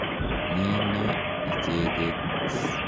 Nyee ne icheket?